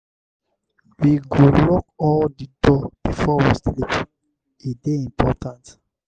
we go lock all di door before we sleep. e dey important.